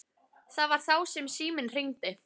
Það var þá sem síminn hringdi.